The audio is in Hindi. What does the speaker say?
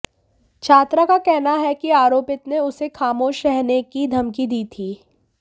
छात्रा का कहना है कि आरोपित ने उसे खामोश रहने की धमकी दी थी